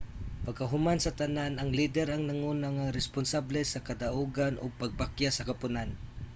pagkahuman sa tanan ang lider ang nanguna nga responsable sa kadugangan ug pagkapakyas sa koponan